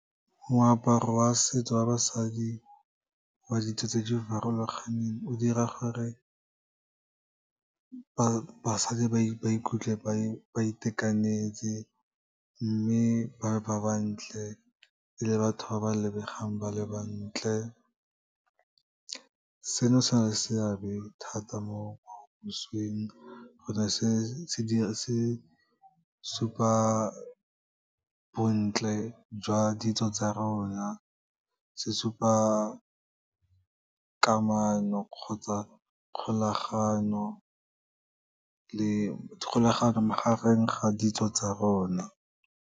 Moaparo wa setso wa basadi, wa ditso tse di farologaneng, o dira gore basadi ba ikutlwe ba itekanetse, mme ba bantle le batho ba ba lebegang ba le bantle. Seno se na le seabe thata mo gonne se se supa bontle jwa ditso tsa rona, se supa kamano kgotsa kgolaganyo magareng ga ditso tsa rona.